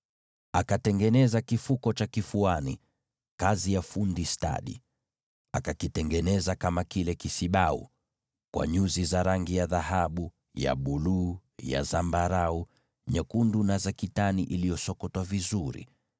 Akafanyiza kifuko cha kifuani, kazi ya fundi stadi. Akakitengeneza kama kile kisibau: cha dhahabu, na nyuzi za rangi ya buluu, za zambarau, na za rangi nyekundu, cha kitani safi iliyosokotwa.